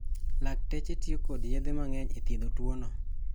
Lakteche tio kod yedhe mang'eny e thiedho tuwono.